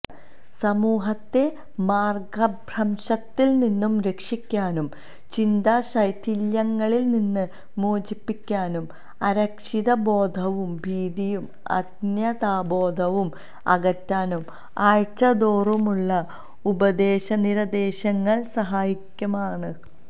സമൂഹത്തെ മാര്ഗഭ്രംശത്തില്നിന്ന് രക്ഷിക്കാനും ചിന്താശൈഥില്യങ്ങളില്നിന്ന് മോചിപ്പിക്കാനും അരക്ഷിത ബോധവും ഭീതിയും അന്യതാബോധവും അകറ്റാനും ആഴ്ചതോറുമുള്ള ഉപദേശനിര്ദേശങ്ങള് സഹായകമാണ്